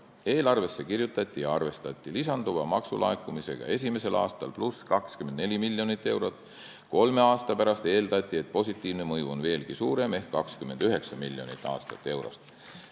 Eelarvesse kirjutati lisanduv maksulaekumine, seal arvestati esimesel aastal 24 miljoni euroga ning eeldati, et kolme aasta pärast on positiivne mõju on veelgi suurem ehk 29 miljonit eurot aastas.